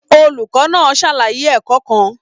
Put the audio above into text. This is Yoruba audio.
Olùkọ́ náà ṣàlàyé ẹ̀kọ́ kan.